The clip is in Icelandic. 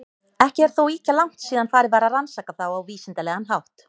Ekki er þó ýkja langt síðan farið var að rannsaka þá á vísindalegan hátt.